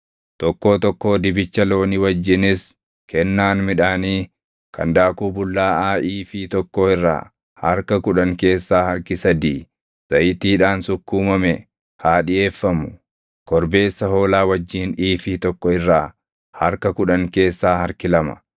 Tokkoo tokkoo dibicha loonii wajjinis kennaan midhaanii kan daakuu bullaaʼaa iifii tokkoo irraa harka kudhan keessaa harki sadii zayitiidhaan sukkuumame haa dhiʼeeffamu. Korbeessa hoolaa wajjin iifii tokko irraa harka kudhan keessaa harki lama,